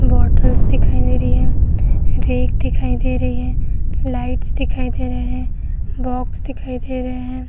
Bottles दिखाई दे रही हैं। दिखाई दे रही है। लाइट्स दिखाई दे रहे हैं। बॉक्स दिखाई दे रहे हैं।